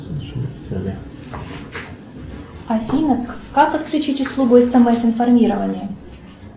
афина как отключить услугу смс информирования